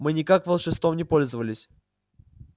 мы никаким волшебством не пользовались